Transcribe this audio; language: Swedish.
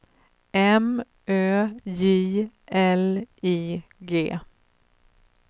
M Ö J L I G